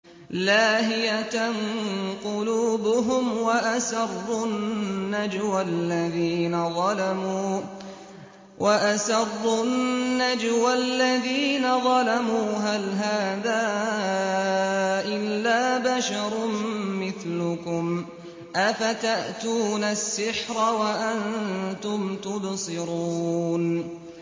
لَاهِيَةً قُلُوبُهُمْ ۗ وَأَسَرُّوا النَّجْوَى الَّذِينَ ظَلَمُوا هَلْ هَٰذَا إِلَّا بَشَرٌ مِّثْلُكُمْ ۖ أَفَتَأْتُونَ السِّحْرَ وَأَنتُمْ تُبْصِرُونَ